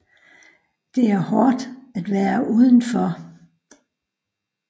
Det er hårdt at være udenfor